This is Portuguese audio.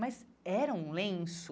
Mas era um lenço.